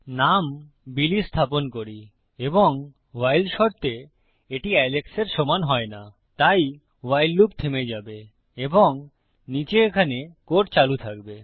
নাম বিলি স্থাপন করি এবং ভাইল শর্তে এটি এলেক্সের সমান হয় নাতাই ভাইল লুপ থেমে যাবে এবং নীচে এখানে কোড চালু থাকবে